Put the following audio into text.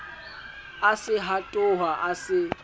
a se hatoha a se